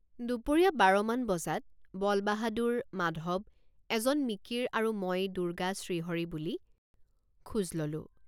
দুপৰীয়া বাৰ মান বজাত বলবাহাদুৰ মাধৱ এজন মিকিৰ আৰু মই দুৰ্গা শ্ৰীহৰি বুলি খোজ ললোঁ।